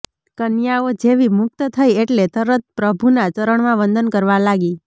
કન્યાઓ જેવી મુક્ત થઈ એટલે તરત પ્રભુનાં ચરણમાં વંદન કરવા લાગી